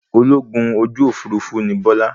Ológun ojú òfurufú ní Bọ́lá.